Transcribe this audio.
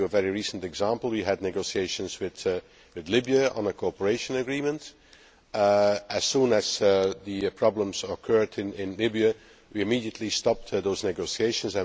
To give you a very recent example, we had negotiations with Libya on a cooperation agreement and, as soon as the problems occurred in Libya, we immediately stopped those negotiations.